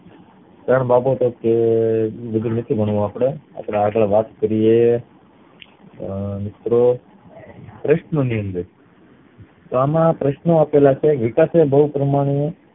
ત્રણ બાબત જે ઈ બધું નથી ભણવું અપડે આગળ વાત કરીયે અ મિત્રો પ્રશ્ન ની અંદર તો આમાં પ્રશ્ન આપેલા છે વિકાસ બવ પ્રમાણે